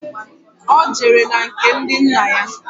Ọ jere na nke ndị nna ya